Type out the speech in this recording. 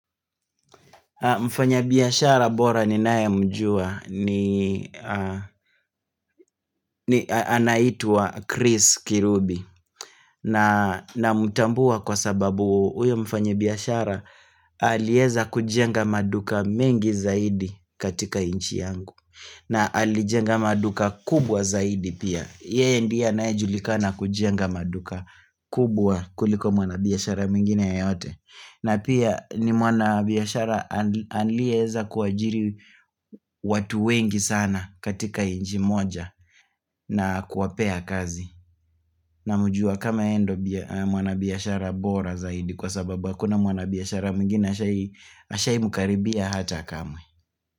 Mfanya biashara bora ninae mjua ni anaitwa Chris Kirubi na namutambua kwa sababu huyo mfanyi biashara alieza kujenga maduka mingi zaidi katika nchi yangu na alijenga maduka kubwa zaidi pia. Yee ndiye anae julikana kujenga maduka kubwa kuliko mwana biashara mwingine ya yote na pia ni mwana biashara anlieza kuwajiri watu wengi sana katika inji moja na kuwapea kazi namjua kama yeye nd mwana biashara bora zaidi kwa sababu hakuna mwana biashara mwingine ashai mkaribia hata kamwe.